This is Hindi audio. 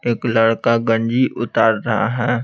एक लड़का गंजी उतार रहा है।